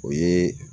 O ye